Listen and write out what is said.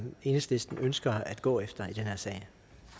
enhedslisten ønsker at gå efter i den her sag